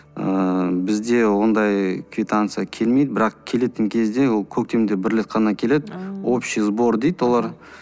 ыыы бізде ондай квитанция келмейді бірақ келетін кезде ол көктемде бір рет қана келеді общий сбор дейді олар